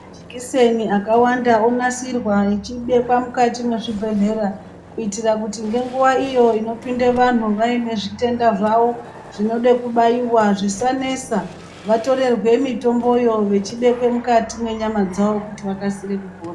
Majikiseni akawanda onasirwa achibekwa mukati mwezvibhedhlera kuitira kuti ngenguva iyo inopinde vanhu vaine zvitenda zvavo zvinode kubaiwa zvisanesa. Vatorerwe mitomboyo vachibekwe mukati mwenyama dzavo kuti vakasire kupora.